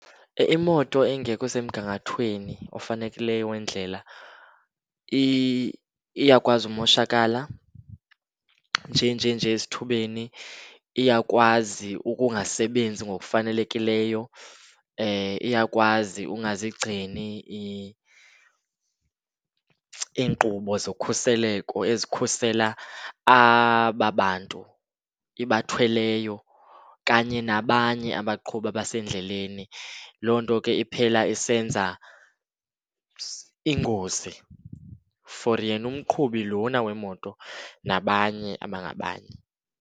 Imoto engekho semgangathweni ofanelekileyo wendlela iyakwazi umoshakala nje nje nje esithubeni. Iyakwazi ukungasebenzi ngokufanelekileyo, iyakwazi ungazigcini iinkqubo zokhuseleko ezikhusela aba bantu ibathweleyo kanye nabanye abaqhubi abasendleleni. Loo nto ke iphela isenza iingozi for yena umqhubi lona wemoto nabanye abangabanye.